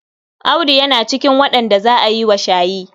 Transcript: Audu yana cikin waɗanda za a yi wa shayi.